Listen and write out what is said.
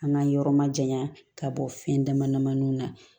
An ka yɔrɔ ma jayan ka bɔ fɛn dama dama na